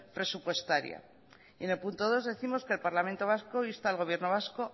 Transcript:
presupuestaria en el punto dos décimos que el parlamento vasco inste al gobierno vasco